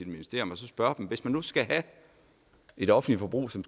ministerium og spørge dem hvis nu vi skal have et offentligt forbrug som